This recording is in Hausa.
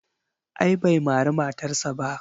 A'a bai mari matarsa ba.